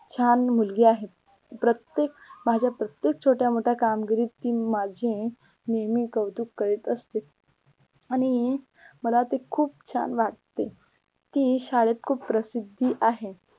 छान मुलगी आहे प्रत्येक माझ्या प्रत्येक छोट्या कामगिरीत ती माझी नेहमी कौतुक करीत असते आणि मला ते खूप छान वाटते ती शाळेत खूप प्रसिद्धी आहे